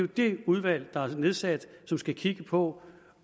det udvalg der er nedsat som skal kigge på